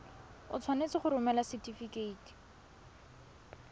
o tshwanetse go romela setefikeiti